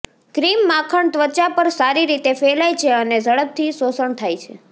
cream માખણ ત્વચા પર સારી રીતે ફેલાય છે અને ઝડપથી શોષણ થાય છે